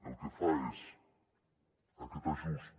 el que fa és aquest ajust